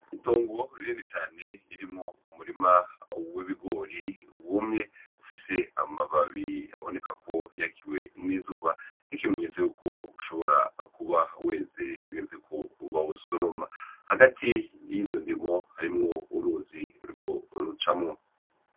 Itongo rinini cane ririmwo umurima w'ibigori wumye, ufise amababi aboneka ko yakiwe n'izuba nk'ikimenyetso yuko ishobora kuba weze hageze ko bawusoroma ,hagati yizo ndimwo hacamwo uruzi ruriko rucamwo.